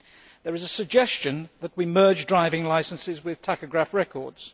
There is a suggestion that we merge driving licences with tachograph records.